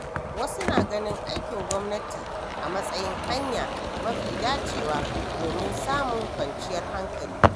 Wasu na ganin aikin gwamnati a matsayin hanya mafi dacewa domin samun kwanciyar hankali.